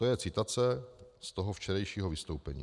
To je citace z toho včerejšího vystoupení.